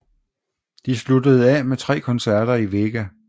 De sluttede af med tre koncerter i Vega